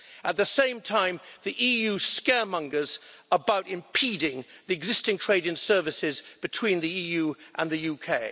At the same time, the EU scaremongers about impeding the existing trade in services between the EU and the UK.